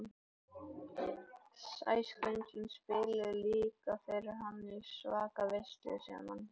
Sæskrímslin spiluðu líka fyrir hann í svaka veislu sem hann hélt.